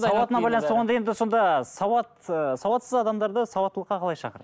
сауатына байланысты болғанда енді сонда сауат ыыы сауатсыз адамдарды сауаттылыққа қалай шақырады